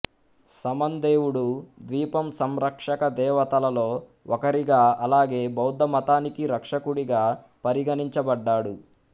సమన్ దేవుడు ద్వీపం సంరక్షక దేవతలలో ఒకరిగా అలాగే బౌద్ధమతానికి రక్షకుడిగా పరిగణించబడ్డాడు